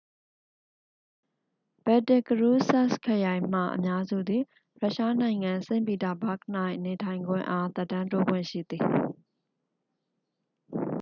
ဘယ်တစ်ကရူးစ်စက်စ်ခရိုင်မှ အများစုသည် ရုရှားနိုင်ငံ စိန့်ပီတာဘာ့ဂ်၌ နေထိုင်ခွင့်အား သက်တမ်းတိုးခွင့်ရှိသည်